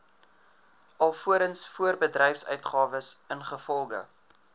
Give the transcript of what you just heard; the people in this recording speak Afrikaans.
alvorens voorbedryfsuitgawes ingevolge